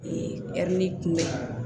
ɛri kunbɛ